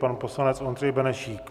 Pan poslanec Ondřej Benešík.